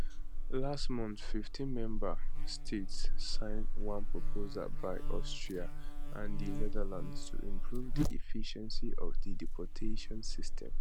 last month 15 member states sign one proposal by austria and di netherlands to improve di efficiency of di deportations system